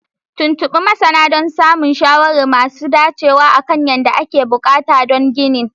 Tuntuɓi masana don samun shawarwari masu dacewa akan kayan da ake buƙata don ginin